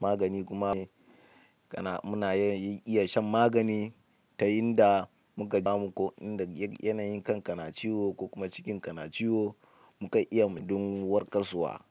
Magani kuma muna iya shan magani. Ta inda muka ji. Samu ko inda yanayin kan ka na ciwo ko kuma cikin ka na ciwo mu kan iya mu don warkarwa.